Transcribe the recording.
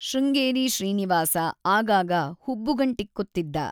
ಶೃಂಗೇರಿ ಶ್ರೀನಿವಾಸ ಆಗಾಗ ಹುಬ್ಬುಗಂಟಿಕ್ಕುತ್ತಿದ್ದ.